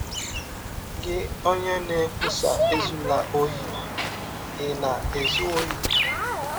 Gị ọnye na - ekwụsa ‘ Ezụla ọhi, ’ ị̀ na - ezụ ọhi? ”